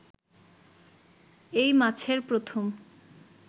এই মাছের প্রথম